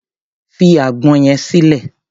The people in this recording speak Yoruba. Fi àgbọn yẹn sílẹ̀!